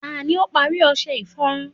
ta ni o pari ọṣẹ iforun